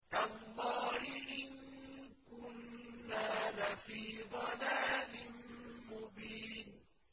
تَاللَّهِ إِن كُنَّا لَفِي ضَلَالٍ مُّبِينٍ